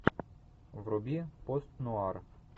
вруби пост нуар